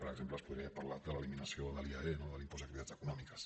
per exemple es podria parlar de l’eliminació del iae no de l’impost d’activitats econòmiques